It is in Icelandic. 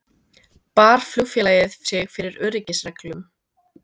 Bar flugfélagið fyrir sig öryggisreglum